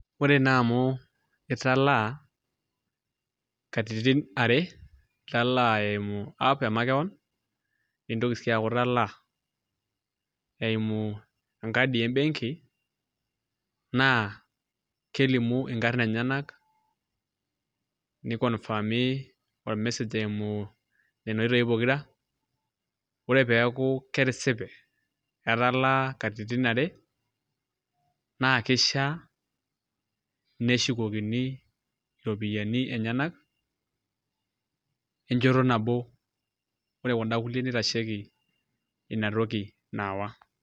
Ore naa amu italaa katitin are, italaa eimu app emakewon nitoki sii aku italaa eimu enkadi e benki naa kelimu inkarrn enyenak niconfirmi ormessage eimu nena oitoi pokira, ore pee eeku ketisipe etalaa katitin are naa kishia neshukokini iropiyiani enyenak enchoto nabo ore kunda kulie nitasheiki ina toki naawa.